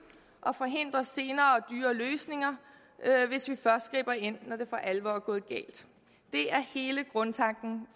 og forhindrer senere og dyrere løsninger hvis vi først griber ind når det for alvor er gået galt det er hele grundtanken